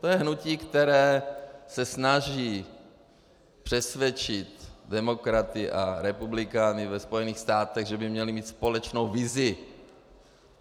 To je hnutí, které se snaží přesvědčit demokraty a republikány ve Spojených státech, že by měli mít společnou vizi.